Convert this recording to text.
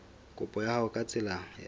kopo ya hao ka tsela